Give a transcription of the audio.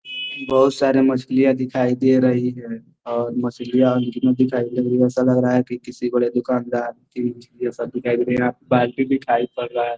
बोहुत सारी मछलियां दिखाई दे रही है और मछलियां ऐसा लग रहा हैं कि किसी बड़े दुकानदार दिखाई पड़ रहा है।